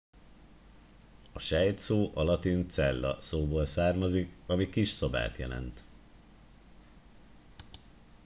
a sejt szó a latin cella szóból származik ami kis szobát jelent